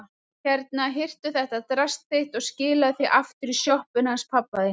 Hérna, hirtu þetta drasl þitt og skilaðu því aftur í sjoppuna hans pabba þíns.